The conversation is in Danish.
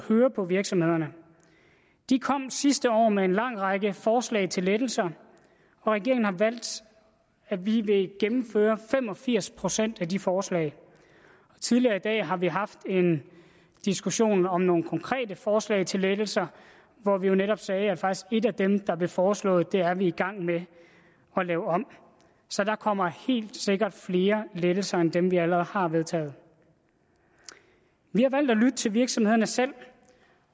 høre på virksomhederne de kom sidste år med en lang række forslag til lettelser og regeringen har valgt at ville gennemføre fem og firs procent af de forslag tidligere i dag har vi haft en diskussion om nogle konkrete forslag til lettelser hvor vi jo netop sagde at et af dem der blev foreslået er vi faktisk i gang med at lave om så der kommer helt sikkert flere lettelser end dem vi allerede har vedtaget vi har valgt at lytte til virksomhederne selv